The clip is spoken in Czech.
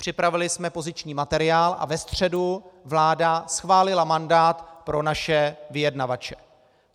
Připravili jsme poziční materiál a ve středu vláda schválila mandát pro naše vyjednavače.